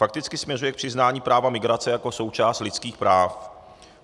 Fakticky směřuje k přiznání práva migrace jako součást lidských práv.